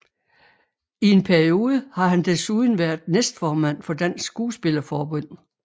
I en periode har han desuden været næstformand for Dansk Skuespillerforbund